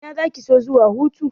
Ina zaki so zuwa hutu?